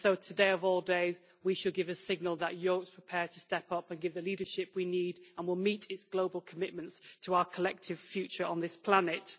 So, today of all days, we should give a signal that Europe is prepared to step up and give the leadership we need, and that it will meet its global commitments to our collective future on this planet.